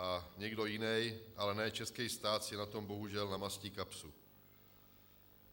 A někdo jiný, ale ne český stát, si na tom bohužel namastí kapsu.